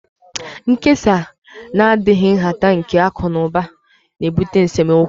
Nkesa na-adịghị nhata nke akụ na ụba na-ebute n'esemokwu